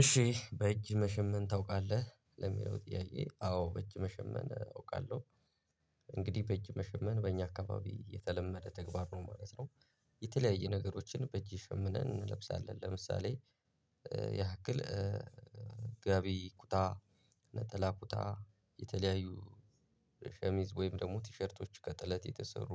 እሺ በእጅ መሸመን ታውቃለህ ለሚለው ጥያቄ? አዎ በእጅ መሸመን አውቃለሁ። እንግዲህ በእጅ መሸመን በእኛ አካባቢ የተለመደ ተግባር ነው ማለት ነው። የተለያየ ነገሮችን በእጅ ሸምነን እንለብሳለን ለምሳሌ ያክል ጋቢ ኩታ ነጠላ ኩታ የተለያዩ ሸሚዝ ወይም ደግሞ ቲሸርቶች ከጥለት የተሰሩ።